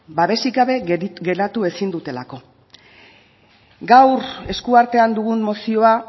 babesik gabe geratu ezin dutelako gaur esku artean dugun mozioa